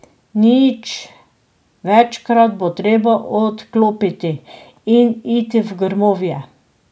Nič, večkrat bo treba odklopiti in iti v grmovje.